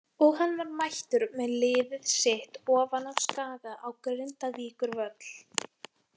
Og hann var mættur með liðið sitt ofan af Skaga á Grindavíkurvöll.